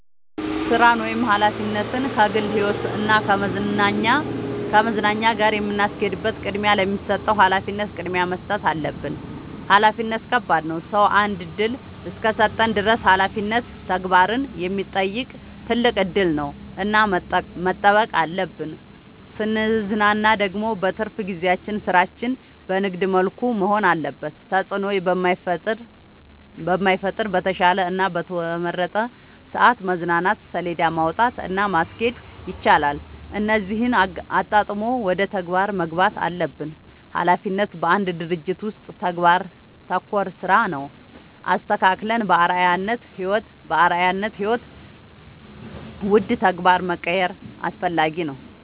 ስራን ወይም ሀላፊነትን ከግል ህይወት እና ከመዝናኛ ጋር የምናስኬድበት ቅድሚያ ለሚሰጠው ሀላፊነት ቅድሚያ መስጠት አለብን። ሀላፊነት ከባድ ነው ሰው አንድ እድል እስከሰጠን ድረስ ሀላፊነት ተግባርን የሚጠይቅ ትልቅ እድል ነው እና መጠበቅ አለብን። ስንዝናና ደግሞ በትርፍ ጊዜያችን ስራችን በንግድ መልኩ መሆን አለበት ተጽዕኖ በማይፈጥር በተሻለ እና በተመረጠ ሰዐት መዝናናት ሴለዳ ማውጣት እና ማስኬድ ይቻላል እነዚህን አጣጥሞ ወደ ተግባር መግባት አለብን። ሀላፊነት በአንድ ድርጅት ውስጥ ተግባር ተኮር ስራ ነው። አስተካክለን በአርዐያነት ህይወት ውደ ተግባር መቀየር አስፈላጊ ነው።